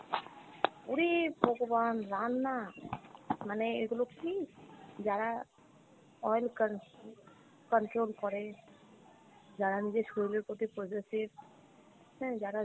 উরি ভগবান রান্না , মানে এগুলো কী যারা oil con~ control করে, যারা নিজের শরীরের প্রতি possessive, হুম যারা